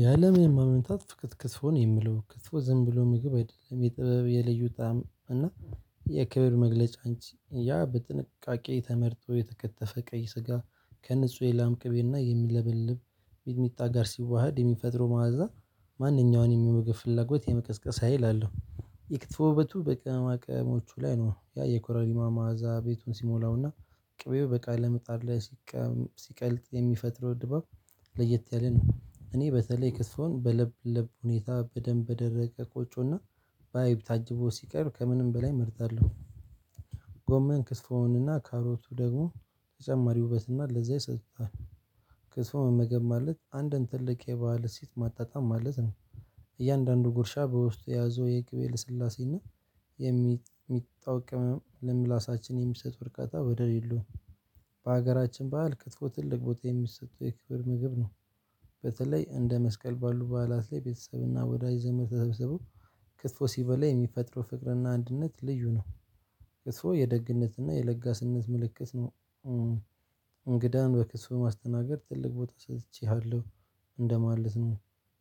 የአለም ማመንታት ክትፎ ነው የሚለው ክትፎ ዝም ብሎ ምግብ አይደለም የጥበብ የለዩ ጣዕም እና የክብር መግለጫ አንቺ ያ በጥንቃቄ ተመርጦ የተከተፈ ቀይ ስጋ ከንጹህ የላምቅቤና የሚለበልብ ሚጥሚጣ ጋር ሲዋሃድ የሚፈጥረው ማዐዛ ማንኛውንም የምግብ ፍላጎት የመቀስቀስ ሀይል አለው። የክትፎ ውበቱ በቅመማቅሞቹ ላይ ነው ያ የኮረሪማ ማዓዛ ቤቱን ሲሞላውና ቅቤው በቃል ምጣድ ላይ ሲቀልጥ የሚፈጥረው ድባብ ለየት ያለ ነው። እኔ በተለይ ክትፎ በለብ ለብ ሁኔታ በደንብ በደረቀ ቆጮና በአይብ ታጅቦ ሲቀርብ ከምንም በላይ እመርጣለሁ። ጎመን ክትፎውን እና ካሮቱ ደግሞ ተጨማሪ ውበትና ለዛ ይሰጥሃል። ክትፎ መመገብ ማለት አንድን ትልቅ የባህል እሴት ማጣጣም ማለት ነው። እያንዳንዱ ጉርሻ በውስጡ የያዘው የቅቤው ልስላሴና የሚጥሚጣው ቅመም ለምላሳችን የሚሰጥ እርካታ ወደር የለውም። በሀገራችን ባህል ክትፎ ትልቅ ቦታ የሚሰጡ የክብር ምግብ ነው። በተለይ እንደ መስቀል ባሉ በዓላት ላይ ቤተሰብና ወዳጅ ዘመድ ተሰብስበው ክትፎ ሲበላ የሚፈጥሩ ፍቅርና አንድነት ልዩ ነው። ክትፎ የደግነትና የለጋስነት ምልክት ነው። እንግዳን በክትፎ ማስተናገድ ትልቅ ቦታ ሰጥቼሃለሁ እንደማለት ነው።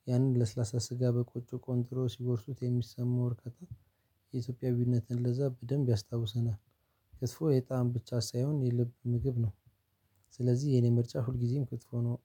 ያንን ለስላሳ ስጋ በቆጮ ቆንጥሮ ሲጎርሱት የሚሰማው እርካታ የኢትዮጵያዊነትን ለዛ በደንብ ያስታውሰናል። ክትፎ የጣም ብቻ ሳይሆን የልብ ምግብ ነው። ስለዚህ የኔ ምርጫ ሁልጊዜም ክትፎ ነው።